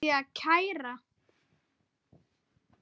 Ætti ég að kæra?